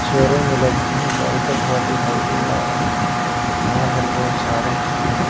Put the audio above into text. छोरों में का आइटम हो रहा दिखाई दे रहा है यहां पर बहुत सारे--